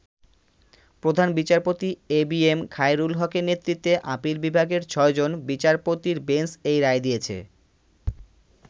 প্রধান বিচারপতি এবিএম, খায়রুল হকের নেতৃত্বে আপিল বিভাগের ছয়জন বিচারপতির বেঞ্চ এই রায় দিয়েছে।